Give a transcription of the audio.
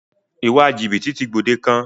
Ìwà jìbìtì ti gbòde kan.